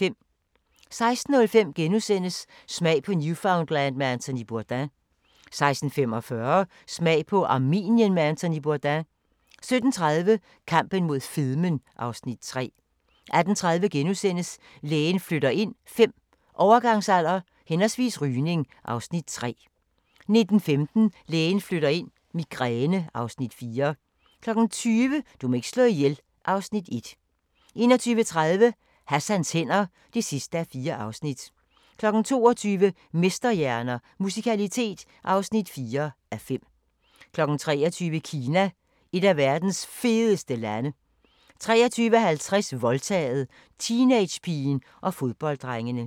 16:05: Smag på Newfoundland med Anthony Bourdain * 16:45: Smag på Armenien med Anthony Bourdain 17:30: Kampen mod fedmen (Afs. 3) 18:30: Lægen flytter ind V – Overgangsalder/rygning (Afs. 3)* 19:15: Lægen flytter ind – Migræne (Afs. 4) 20:00: Du må ikke slå ihjel (Afs. 1) 21:30: Hassans hænder (4:4) 22:00: Mesterhjerner – Musikalitet (4:5) 23:00: Kina – et af verdens fedeste lande 23:50: Voldtaget – teenagepigen og fodbolddrengene